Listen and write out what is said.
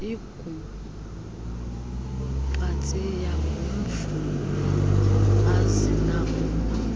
ingumpatsiya ngumvubo azinakuba